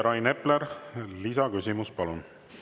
Rain Epler, lisaküsimus, palun!